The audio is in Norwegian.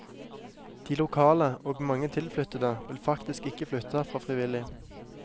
De lokale og mange tilflyttede vil faktisk ikke flytte herfra frivillig.